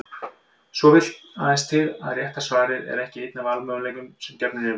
Svo vill aðeins til að rétta svarið er ekki einn af valmöguleikunum sem gefnir eru.